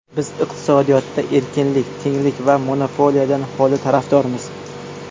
Biz iqtisodiyotda erkinlik, tenglik va monopoliyadan holilik tarafdorimiz.